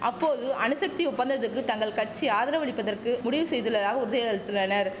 அப்போது அணுசக்தி ஒப்பந்தத்துக்கு தங்கள் கட்சி ஆதரவளிப்பதற்கு முடிவு செய்துள்ளதாக உறுதியளித்தனர்